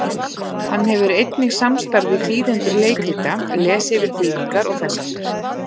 Hann hefur einnig samstarf við þýðendur leikrita, les yfir þýðingar og þess háttar.